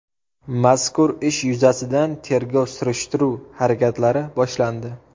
Mazkur ish yuzasidan tergov-surishtiruv harakatlari boshlandi.